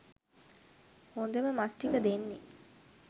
හොදම මස් ටික දෙන්නේ